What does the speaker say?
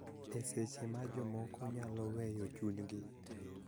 E seche ma jomoko nyalo weyo chunygi .